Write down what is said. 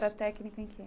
Era técnica em quê?